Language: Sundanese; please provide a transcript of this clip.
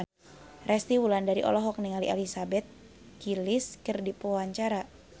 Resty Wulandari olohok ningali Elizabeth Gillies keur diwawancara